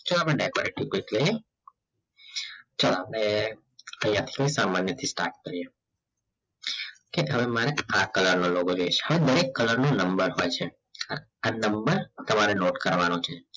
ચલ અપડે ચલ અપડે આઇયાહ સામાન્ય થી start કર્યે કે તમે મને આ કલર નો logo જોઈસે હવે દરેક કલર ની નંબર હોય છે આ નંબર તમારે નોટે કરવાનો છે